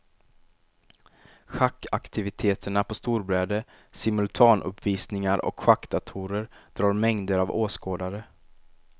Schackaktiviteterna på storbräde, simultanuppvisningar och schackdatorer drar mängder av åskådare.